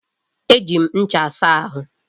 E ji ncha asa ahụ.